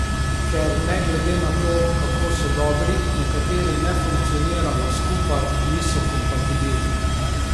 Ker ne glede na to, kako so dobri, nekateri ne funkcionirajo skupaj, niso kompatibilni.